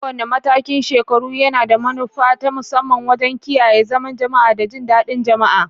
Kowane matakin shekaru yana da manufa ta musamman wajen kiyaye zaman jama'a da jin daɗin jama'a.